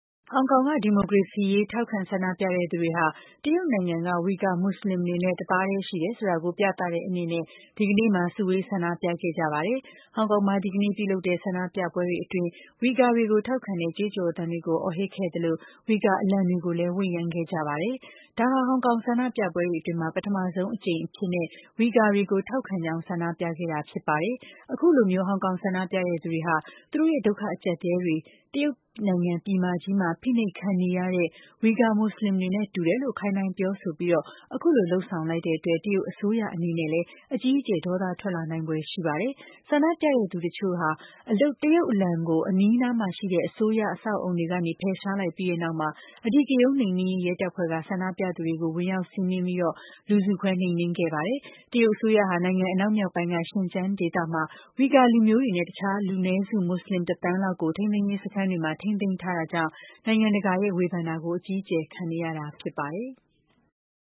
ဟောင်ကောင်က ဒီမိုကရေစီရေး ထောက်ခံဆန္ဒပြတဲ့သူတွေဟာ တရုတ်နိုင်ငံက ဝီဂါမွတ်စလင်တွေနဲ့ တသားတည်း ရှိနေတယ်ဆိုတာကို ပြသတဲ့အနေနဲ့ ဒီကနေ့မှာ စုဝေးဆန္ဒပြခဲ့ကြပါတယ်။ ဟောင်ကောင်မှာ ဒီကနေ့ပြုလုပ်တဲ့ ဆန္ဒပြပွဲတွေအတွင်း ဝီဂါတွေကို ထောက်ခံတဲ့ ကြွေးကြော်သံတွေကို အော်ဟစ်ခဲ့ကြသလို ဝီဂါအလံတွေကိုလည်း ဝှေ့ယမ်းခဲ့ကြပါတယ်။ ဒါဟာ ဟောင်ကောင်ဆန္ဒပြပွဲတွေအတွင်း ပထမဆုံးအကြိမ်အဖြစ်နဲ့ ဝီဂါတွေကို ထောက်ခံကြောင်း ဆန္ဒပြခဲ့ကြတာ ဖြစ်ပါတယ်။ အခုလိုမျိုး ဟောင်ကောင်ဆန္ဒပြတဲ့သူတွေက သူတို့ရဲ့ ဒုက္ခအကျပ်အတည်းတွေဟာ တရုတ်နိုင်ငံ ပြည်မကြီးမှာ ဖိနှိပ်ခံနေရတဲ့ ဝီဂါမွတ်စလင်တွေနဲ့ တူတယ်လို့ ခိုင်းနှိုင်းပြောဆိုပြီး အခုလို လုပ်ဆောင်လိုက်တဲ့အတွက် တရုတ်အစိုးရ အနေနဲ့လည်း အကြီးအကျယ် ဒေါသထွက်လာနိုင်ဖွယ် ရှိနေပါတယ်။ ဆန္ဒပြတဲ့သူတချို့က တရုတ်အလံကို အနီးနားမှာရှိတဲ့ အစိုးရ အဆောက်အအုံကနေ ဖယ်ရှားလိုက်ပြီးတဲ့နောက် အဓိကရုဏ်း နှိမ်နင်းရေး ရဲတပ်ဖွဲ့က ဆန္ဒပြတဲ့သူတွေကို ဝင်ရောက်စီးနင်းပြီး လူစုခွဲ နှိမ်နင်းခဲ့ပါတယ်။ တရုတ်အစိုးရဟာ နိုင်ငံအနောက်မြောက်ပိုင်းက ရှင်းကျန်းဒေသမှာ ဝီဂါလူမျိုးတွေနဲ့ တခြား လူနည်းစု မွတ်စလင် ၁ သန်းလောက်ကို ထိန်းသိမ်းရေးစခန်းတွေမှာ ထိန်းသိမ်းထားတာကြောင့် နိုင်ငံတကာရဲ့ ဝေဖန်တာတွေကို အကြီးအကျယ် ခံနေရတာ ဖြစ်ပါတယ်။